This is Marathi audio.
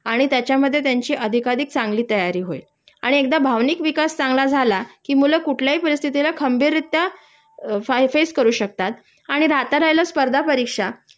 आणि त्यांच्यामधे त्यांची अधिकाधिक चांगली तयारी होईल आणि एकदा भावनिक विकास झाला कि मुलं कुठल्याही परिस्थीला खंबीररित्या फेस करू शकतात आणि राहता राहील स्पर्धा परीक्षा